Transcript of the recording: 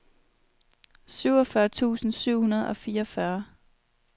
syvogfyrre tusind syv hundrede og fireogfyrre